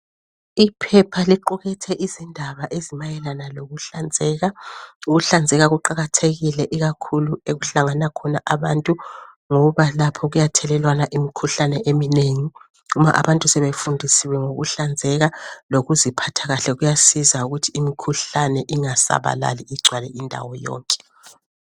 Iphepha liqukethe izindaba ezimayelana lokuhlanzeka. Ukuhlanzeka kuqakathekile ikakhulu okuhlangana khona abantu, ngoba lapho kuyathelelwana imikhuhlane eminengi. Nxa abantu sebefundisiwe ngokuhlanzeka lokuziphatha kuhle, kuyasiza ukuthi imikhuhlane ingasabalali igcwale indawo yonke